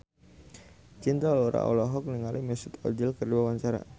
Cinta Laura olohok ningali Mesut Ozil keur diwawancara